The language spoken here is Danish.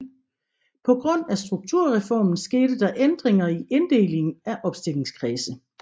På grund af Strukturreformen skete der ændringer i inddelingen af opstillingskredse